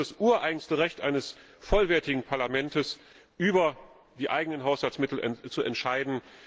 Denn es ist das ureigenste Recht eines vollwertigen Parlaments, über die eigenen Haushaltsmittel zu entscheiden.